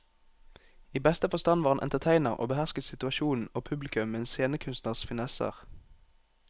I beste forstand var han entertainer og behersket situasjonen og publikum med en scenekunstners finesser.